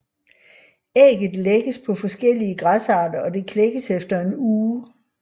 Ægget lægges på forskellige græsarter og det klækkes efter en uge